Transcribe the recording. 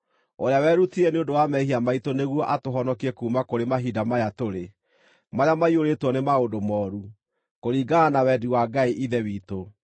ũrĩa werutire nĩ ũndũ wa mehia maitũ nĩguo atũhonokie kuuma kũrĩ mahinda maya tũrĩ, marĩa maiyũrĩtwo nĩ maũndũ mooru, kũringana na wendi wa Ngai Ithe witũ,